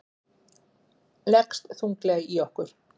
Leggst þunglega í okkur